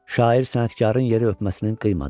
Şair sənətkarın yeri öpməsinin qıymadı.